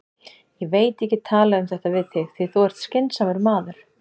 Ég veit ég get talað um þetta við þig, því þú ert skynsamur maður.